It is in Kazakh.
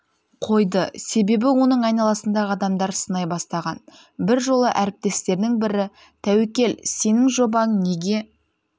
қойды себебі оның айналасындағы адамдар сынай бастаған бір жолы әріптестерінің бірі тәуекел сенің жобаң неге